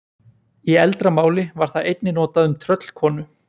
Í eldra máli var það einnig notað um tröllkonu.